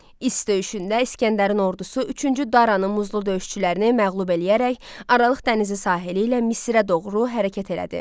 İs döyüşündə İsgəndərin ordusu üçüncü Daranın muzdlu döyüşçülərini məğlub eləyərək Aralıq dənizi sahili ilə Misirə doğru hərəkət elədi.